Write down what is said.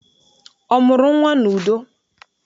Ọ mụrụ nnwa n'udo?